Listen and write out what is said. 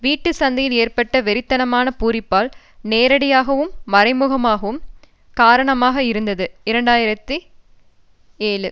வீட்டு சந்தையில் ஏற்பட்ட வெறித்தனமான பூரிப்பால் நேரடியாகவும் மறைமுகமாகவும் காரணமாக இருந்தது இரண்டு ஆயிரத்தி ஏழு